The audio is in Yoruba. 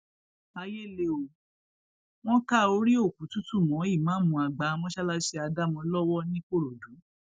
ayé le ó wọn ka orí òkú tútù mọ ìmáàmù àgbà mọṣáláṣí ádámò lọwọ nìkòròdú